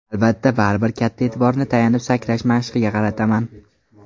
Albatta, baribir katta e’tiborni tayanib sakrash mashqiga qarataman.